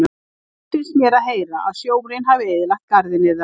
Leitt finnst mér að heyra að sjórinn hafi eyðilagt garðinn yðar.